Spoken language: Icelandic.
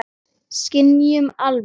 Skynjun almennt